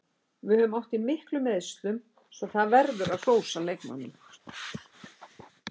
Við höfum átt í miklum meiðslum svo það verður að hrósa leikmönnunum.